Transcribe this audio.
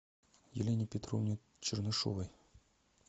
елене петровне чернышовой